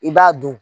I b'a dun